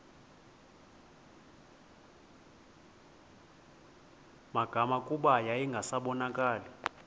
magama kuba yayingasabonakali